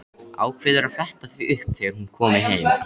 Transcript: Ákveður að fletta því upp þegar hún komi heim.